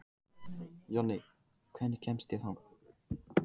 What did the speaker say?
Jonni, hvernig kemst ég þangað?